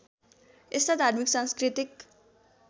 यस्ता धार्मिक सांस्कृतिक